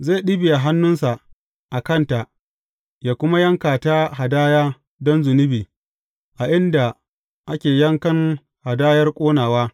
Zai ɗibiya hannunsa a kanta yă kuma yanka ta hadaya don zunubi a inda ake yankan hadayar ƙonawa.